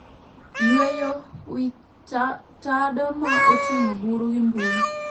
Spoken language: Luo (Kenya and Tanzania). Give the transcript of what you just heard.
Yueyo wi tadoma oting'o buru gi mbui